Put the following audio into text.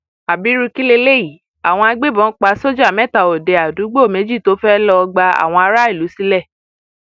abiru kí leléyìí àwọn agbébọn pa sójà mẹta òde àdúúgbò méjì tó fẹẹ lọọ gba àwọn aráàlú sílẹ